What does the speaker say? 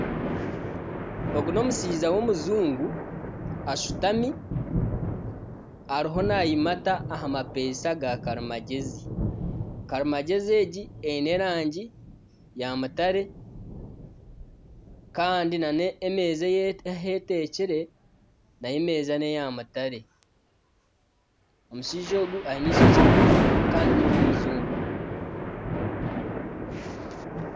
Ogu n'omushaija w'omujungu ashutami ariho nayimata aha mapesha gaarimagezi. Karimagezi egi eine erangi ya mutare kandi nana emeeza ahi etekire nayo emeeza neya mutare. Omushaija ogu aine ishokye rigufu kandi n'owomujungu.